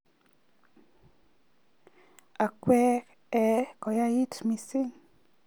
Ak kwe ee koyait missing.